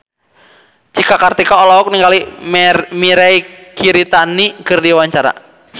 Cika Kartika olohok ningali Mirei Kiritani keur diwawancara